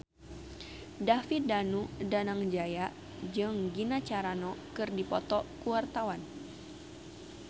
David Danu Danangjaya jeung Gina Carano keur dipoto ku wartawan